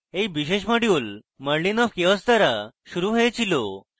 এই বিশেষ module merlinofchaos দ্বারা শুরু হয়েছিল